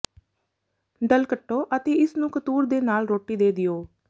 ਡਲ ਕੱਟੋ ਅਤੇ ਇਸ ਨੂੰ ਕਤੂਰ ਦੇ ਨਾਲ ਰੋਟੀ ਦੇ ਦਿਓ